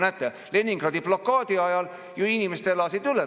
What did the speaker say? Näete, Leningradi blokaadi elasid inimesed ju üle.